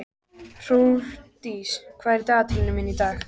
Hrólfdís, hvað er í dagatalinu mínu í dag?